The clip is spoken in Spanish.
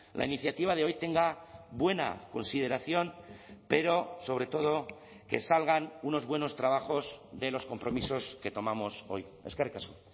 la iniciativa de hoy tenga buena consideración pero sobre todo que salgan unos buenos trabajos de los compromisos que tomamos hoy eskerrik asko